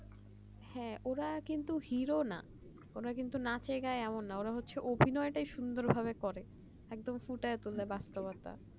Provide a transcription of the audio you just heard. হ্যাঁ ওরা কিন্তু হিরো না ওরা কিন্তু নাচের গায়ে এরকম না ওরা হচ্ছে অভিনয় টা সুন্দরভাবে করে একদম বাক্যকর্তা